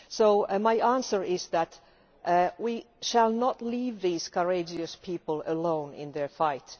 So, my answer is that we shall not leave these courageous people alone in their fight.